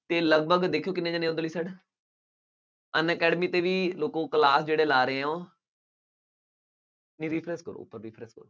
ਅਤੇ ਲਗਭਗ ਦੇਖਿਉ ਕਿੰਨੇ ਜਣੇ ਉੱਧਰਲੀ side ਹੈ, Unacademy ਤੇ ਵੀ ਦੇਖੋ class ਜਿਹੜੇ ਲਾ ਰਹੇ ਆ ਉਹ ਇਹ ਵੀ